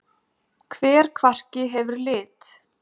Hver kvarki hefur lit.